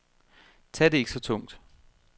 Tag det ikke så tungt.